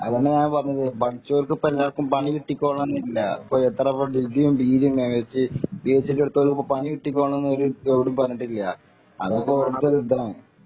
അത് തന്നെ ഞാൻ പറഞ്ഞത് പഠിച്ചോൾക്ക് ഇപ്പൊ എല്ലാവര്ക്കും പണി കിട്ടിക്കോളണം എന്നില്ല ഇപ്പൊ എത്രെ ഡിഗ്രീ പിജി യും പി എഛ് ഡി എടുത്തവർക്ക് പണി കിട്ടിക്കോളണം എന്ന് എവിടെയും പറഞ്ഞിട്ടില്ല അതൊക്കെ ഓരോരുത്തരുടെ ഇതാണ്